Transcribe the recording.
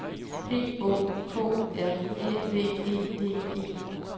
P Å K R Æ V E D E